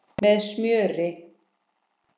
Með smjöri.